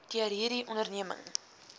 deur hierdie onderneming